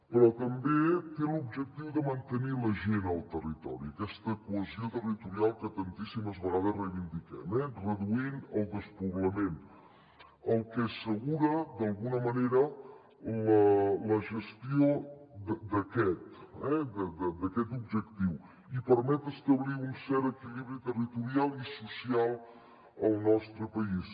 però també té l’objectiu de mantenir la gent al territori aquesta cohesió territorial que tantíssimes vegades reivindiquem reduint el despoblament el que assegura d’alguna manera la gestió d’aquest objectiu i permet establir un cert equilibri territorial i social al nostre país